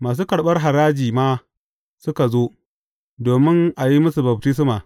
Masu karɓar haraji ma suka zo, domin a yi musu baftisma.